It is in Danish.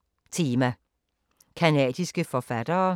Tema: Canadiske forfattere